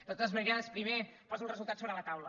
de totes maneres primer poso el resultat sobre la taula